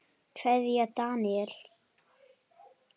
Kveðja, Daníel.